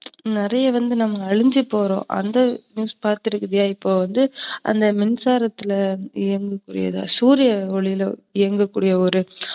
நறையா வந்து நம்ம அழிஞ்சு போறோம். அந்த news பாத்துருக்கிய? இப்போ வந்து அந்த மின்சாரத்துல, இந்த சூரிய ஒலியில இயங்கக்கூடிய ஒரு